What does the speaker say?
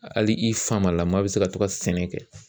Hali i famalama bɛ se ka to ka sɛnɛ kɛ .